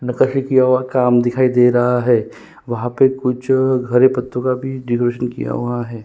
नकासी किया हुआ काम दिखाई दे रहा हैं वहाँ पर कुछ हरे पत्तों का भी डेकरैशन किया हुआ हैं।